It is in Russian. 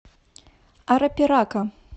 арапирака